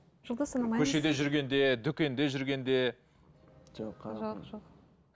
жұлдыз санамаймыз көшеде жүргенде дүкенде жүргенде